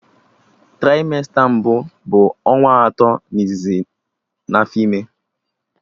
Traimesta mbụ bụ ọnwa atọ izizi n'afọ ime